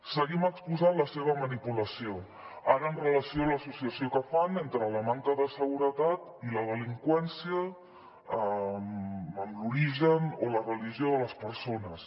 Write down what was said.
seguim exposant la seva manipulació ara amb relació a l’associació que fan entre la manca de seguretat i la delinqüència amb l’origen o la religió de les persones